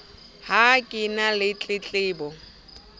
ha ke na le tletlebo